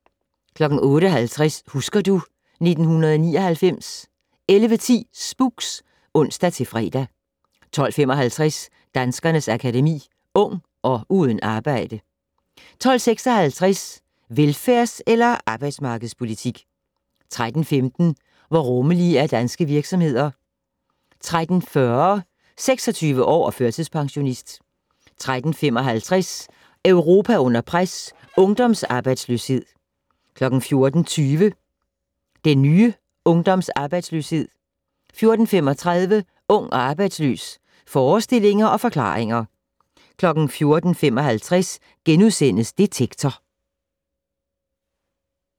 08:50: Husker du ... 1999 11:10: Spooks (ons-fre) 12:55: Danskernes Akademi: Ung - og uden arbejde 12:56: Velfærds- eller arbejdsmarkedspolitik? 13:15: Hvor rummelige er danske virksomheder? 13:40: 26 år og førtidspensionist 13:55: Europa under pres - ungdomsarbejdsløshed 14:20: Den nye ungdomsarbejdsløshed 14:35: Ung og arbejdsløs - forestillinger og forklaringer 14:55: Detektor *